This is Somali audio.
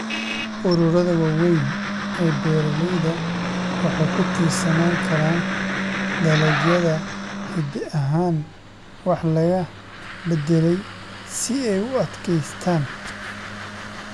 Ururada waaweyn ee beeralayda waxay ku tiirsanaan karaan dalagyada hidde ahaan wax laga beddelay si ay u adkaystaan ????sare.